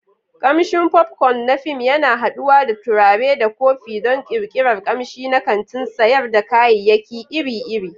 Kamshin popcorn na fim yana haɗuwa da turare da kofi don ƙirƙirar ƙamshi na kantin sayar da kayayyaki iri-iri.